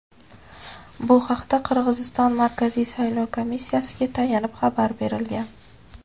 Bu haqda Qirg‘iziston Markaziy saylov komissiyasiga tayanib xabar berilgan.